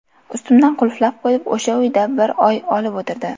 Ustimdan qulflab qo‘yib, o‘sha uyda bir oy olib o‘tirdi.